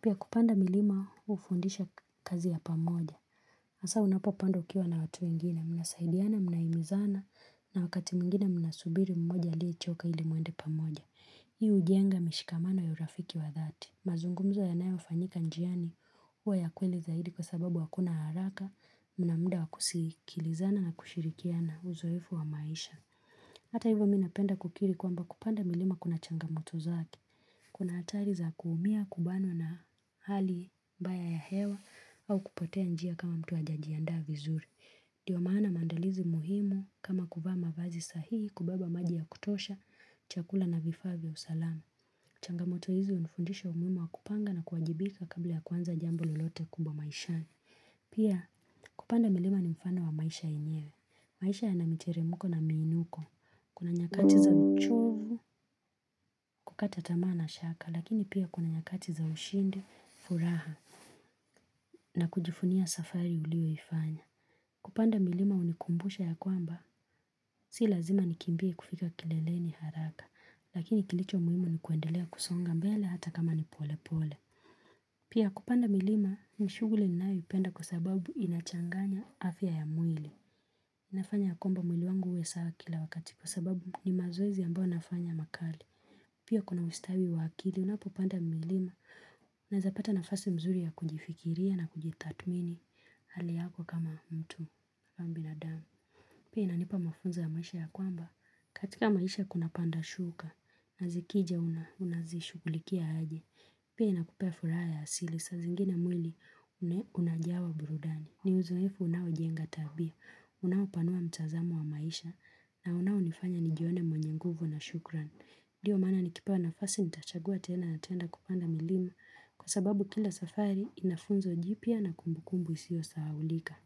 Pia kupanda milima hufundisha kazi ya pamoja. Hasa unapopandwa ukiwa na watu wengine, munasaidiana, muna imizana, na wakati mwingine muna subiri mmoja aliyechoka ili mwende pamoja. Hii ujenga mishikamano ya urafiki wa dhati. Mazungumzo yanayo fanyika njiani huwa ya kweli zaidi kwa sababu hakuna haraka, mnamuda wakusikilizana na kushirikiana uzoefu wa maisha. Hata hivyo mi napenda kukiri kwamba kupanda milima kuna changamoto zake. Kuna hatari za kuumia kubanwa na hali mbaya ya hewa au kupotea njia kama mtu ajaji andaa vizuri. Ndio maana maandalizi muhimu kama kuvaa mavazi sahihi kubeba maji ya kutosha, chakula na vifaa vya usalama. Changamoto hizi unifundisha umuhimu wa kupanga na kuwajibika kabla ya kuanza jambo lolote kubwa maishani. Pia, kupanda milima ni mfano wa maisha yenyewe. Maisha yana miteremuko na minuko. Kuna nyakati za mchovu, kukata tamaa na shaka, lakini pia kuna nyakati za ushindi, furaha, na kujifunia safari uliyo ifanya. Kupanda milima unikumbusha ya kwamba, si lazima nikimbie kufika kileleni haraka, lakini kilicho muhimu ni kuendelea kusonga mbele hata kama ni pole pole. Pia kupanda milima, ni shuguli ninayoipenda kwa sababu inachanganya afya ya mwili. Nafanya ya kwamba mwili wangu uwe sawa kila wakati kwa sababu ni mazoezi ambayo nafanya makali. Pia kuna ustawi wa akili, unapopanda milima unaeza pata nafasi mzuri ya kujifikiria na kujithatmini hali yako kama mtu ama binadamu. Pia inanipa mafunzo ya maisha ya kwamba, katika maisha kuna panda shuka, na zikija unazishugulikia aje. Pia inakupea furaha ya asili, saa zingine mwili unajawa burudani. Ni uzunifu unawo jenga tabia, unawo panua mtazamo wa maisha, na unawo nifanya nijione mwenye nguvu na shukran. Ndio maana nikipewa nafasi nitachagua tena na tena kupanda milima, kwa sababu kila safari inafunzo jipya na kumbukumbu isio sahaulika.